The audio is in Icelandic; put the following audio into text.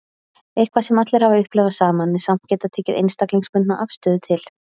Eitthvað sem allir hafa upplifað saman en samt getað tekið einstaklingsbundna afstöðu til.